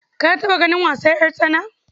Ka taɓa ganin wasan ƴartsana